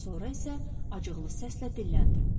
Sonra isə acıqlı səslə dilləndi.